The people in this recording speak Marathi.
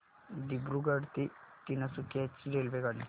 दिब्रुगढ ते तिनसुकिया ची रेल्वेगाडी